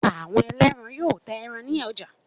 Àwọn ẹlẹ́ran yóò ta ẹran ní ọjà.